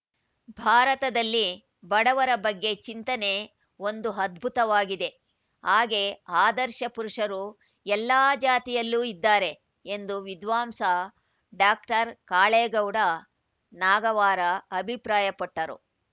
ಭಾರತದಲ್ಲಿ ಬಡವರ ಬಗ್ಗೆ ಚಿಂತನೆ ಒಂದು ಅದ್ಭುತವಾಗಿದೆ ಹಾಗೇ ಆದರ್ಶ ಪುರುಷರು ಎಲ್ಲ ಜಾತಿಯಲ್ಲೂ ಇದ್ದಾರೆ ಎಂದು ವಿದ್ವಾಂಸ ಡಾಕ್ಟರ್ ಕಾಳೇಗೌಡ ನಾಗವಾರ ಅಭಿಪ್ರಾಯಪಟ್ಟರು